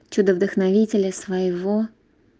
чудо вдохновителя своего